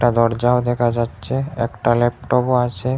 দরজাও দেখা যাচ্ছে একটা ল্যাপটপও আছে।